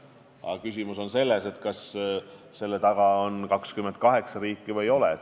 Aga küsimus on selles, kas selle taga on 28 riiki või ei ole.